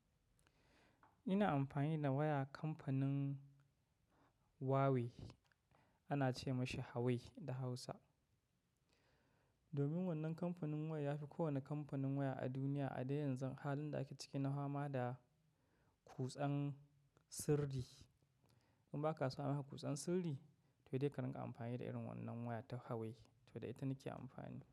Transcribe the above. Ina amfani da waya kamfanin Huawei ana ce mashi Hawai da Hausa. Domin wannan kamfanin waya yafi kowane kamfanin waya a duniya a da yanzu halin da ake ciki na fama da kutsan sirri. In ba ka so a maka kutsan sirri to dai ka ringa amfani da irin wannan waya ta Huawei to da ita nake amfani da.